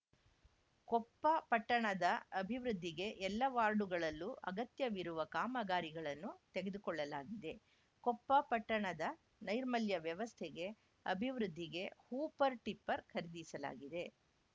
ಕೊಪ್ಪ ಪಟ್ಟಣದ ಅಭಿವೃದ್ಧಿಗೆ ಎಲ್ಲ ವಾರ್ಡುಗಳಲ್ಲೂ ಅಗತ್ಯವಿರುವ ಕಾಮಗಾರಿಗಳನ್ನು ತೆಗೆದುಕೊಳ್ಳಲಾಗಿದೆ ಕೊಪ್ಪ ಪಟ್ಟಣದ ನೈರ್ಮಲ್ಯ ವ್ಯವಸ್ಥೆಗೆ ಅಭಿವೃದ್ಧಿಗೆ ಹೂಪರ್‌ ಟಿಪ್ಪರ್‌ ಖರೀದಿಸಲಾಗಿದೆ